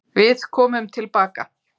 Við komum tilbaka.